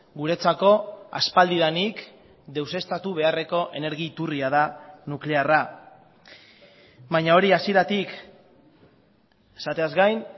guretzako aspaldidanik deuseztatu beharreko energi iturria da nuklearra baina hori hasieratik esateaz gain